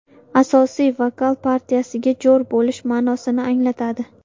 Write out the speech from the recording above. Asosiy vokal partiyasiga jo‘r bo‘lish ma’nosini anglatadi.